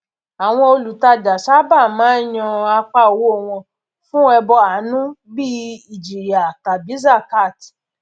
àwọn olùtajà sábà máa ń yàn apá owó wọn fún ẹbọ àánú bíi ìjìyà tàbí zakat